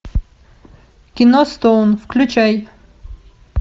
кино стоун включай